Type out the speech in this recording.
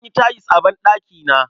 An yi tayil a banɗakina.